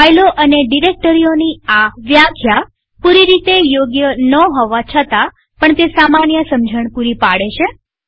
ફાઈલો અને ડિરેક્ટરીઓની આ વ્યાખ્યા પૂરી રીતે યોગ્ય ન હોવા છતાં પણ તે સામાન્ય સમજણ પૂરી પાડે છે